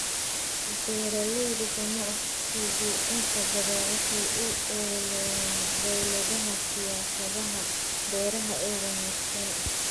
Beeraleyda ganacsigu inta badan waxay u ololeeyaan dawladaha siyaasadaha beeraha ee wanaagsan.